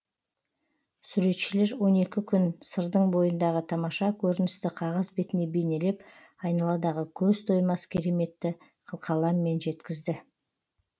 суретшілер он екі күн сырдың бойындағы тамаша көріністі қағаз бетіне бейнелеп айналадағы көз тоймас кереметті қылқаламмен жеткізді